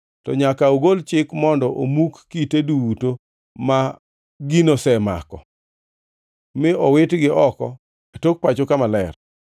to nyaka ogol chik mondo omuk kite duto ma gino osemako mi owitgi oko e tok pacho kama ok ler.